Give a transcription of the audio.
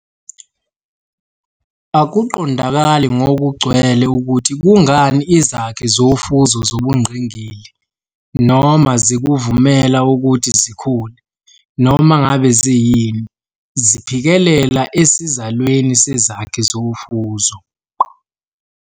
Akuqondakali ngokugcwele ukuthi kungani izakhi zofuzo zobungqingili, noma zikuvumela ukuthi zikhule, noma ngabe ziyini, ziphikelela esizalweni sezakhi zofuzo.